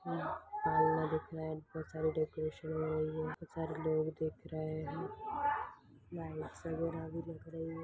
Lights हैं decoration हैं लोग दिख रहे हैं लाइट्स वागेरा भी दिख रही हैं।